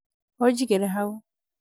ũnjigĩre hau